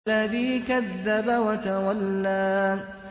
الَّذِي كَذَّبَ وَتَوَلَّىٰ